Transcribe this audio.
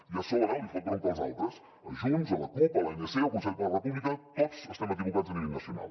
i a sobre li fot bronca als altres a junts a la cup a l’anc al consell per la república tots estem equivocats a nivell nacional